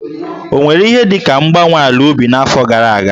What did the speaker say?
Ọ nwere ihe dị ka mgbanwe ala ubi n'afọ gara aga?